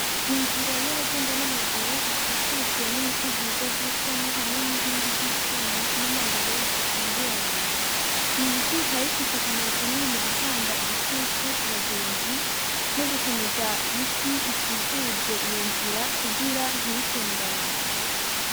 Inzira y'abagenda n'amaguru ikikujwe, n'ibiti vyiza vy'ishami ,hamwe n'inkingi z'icuma ,n'amabuye zikingira abantu. Ibi biti bikaba bifise akamaro kanini mugutanga igitutu kubagenzi nogukomeza is ikikuje iyonzira kugira ntibitembane.